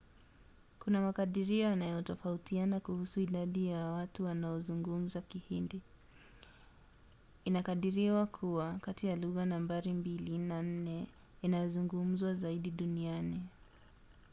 kuna makadirio yanayotofautiana kuhusu idadi ya watu wanaozungumza kihindi. inakadiriwa kuwa kati ya lugha nambari mbili na nne inayozungumzwa zaidi duniani